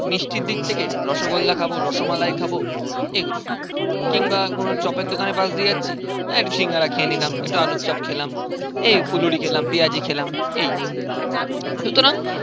মিষ্টির দিক থেকে রসগোল্লা খাবো, রসমালাই খাবো. এগুলো কিংবা কোনো চপের দোকানের পাশ দিয়ে যাচ্ছি. একটু সিঙ্গারা খেয়ে নিলাম. একটু আলুর চপ খেলাম. এই ফুলহুরি খেলাম. পেঁয়াজি খেলাম. এই. সুতরাং